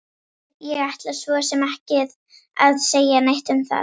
Ég ætla svo sem ekki að segja neitt um það!